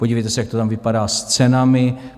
Podívejte se, jak to tam vypadá s cenami.